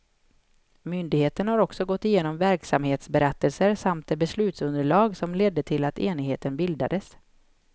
Myndigheten har också gått igenom verksamhetsberättelser samt det beslutsunderlag som ledde till att enheten bildades.